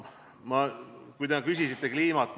Te küsisite kliima kohta.